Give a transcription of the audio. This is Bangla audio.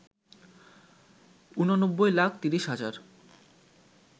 ৮৯ লাখ ৩০ হাজার